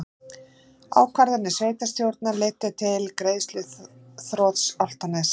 Ákvarðanir sveitarstjórnar leiddu til greiðsluþrots Álftaness